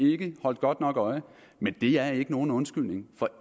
holdt godt nok øje men det er ikke nogen undskyldning for